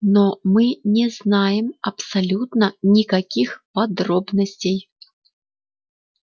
но мы не знаем абсолютно никаких подробностей